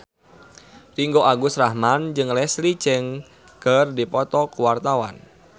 Ringgo Agus Rahman jeung Leslie Cheung keur dipoto ku wartawan